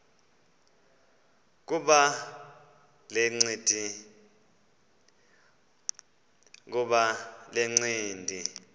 kuba le ncindi